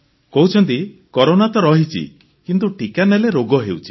କହୁଛନ୍ତି କରୋନା ତ ରହିଛି କିନ୍ତୁ ଟିକା ନେଲେ ରୋଗ ହେଉଛି